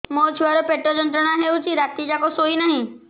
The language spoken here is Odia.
ମୋ ଛୁଆର ପେଟ ଯନ୍ତ୍ରଣା ହେଉଛି ରାତି ଯାକ ଶୋଇନାହିଁ